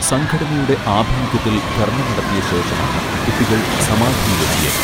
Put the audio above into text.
സംഘടനയുടെ ആഭിമുഖ്യത്തിൽ ധർണ നടത്തിയ ശേഷമാണ് കുട്ടികൾ സമാധിയിലെത്തിയത്